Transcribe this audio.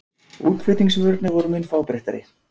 útflutningsvörurnar voru mun fábreyttari